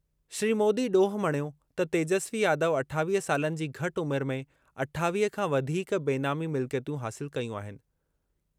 श्री मोदी ॾोह मणियो त तेजस्वी यादव अठावीह सालनि जी घटि उमिरि में अठावीह खां वधीक बेनामी मिल्कियतूं हासिल कयूं आहिनि।